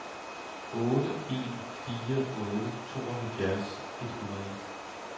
otte en fire otte tooghalvfjerds et hundrede